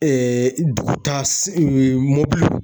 dugutaga mobili